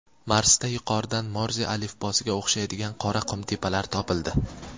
Marsda yuqoridan Morze alifbosiga o‘xshaydigan qora qumtepalar topildi.